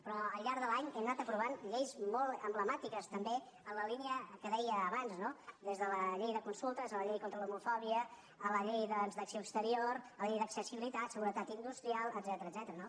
però al llarg de l’any hem anat aprovant lleis molt emblemàtiques també en la línia que deia abans des de la llei de consultes fins a la llei contra l’homofò·bia a la llei de l’acció exterior a la llei d’accessi·bilitat seguretat industrial etcètera